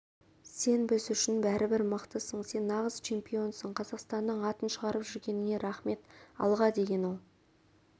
сен біз үшін бәрібір мықтысың сен нағыз чемпионсың қазақстанның атын шығарып жүргеніңе рахмет алға деген ол